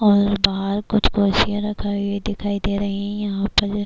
اور باہر کچھ کرسیاں رکھی دکھایی دے رہی ہے، یھاں پر-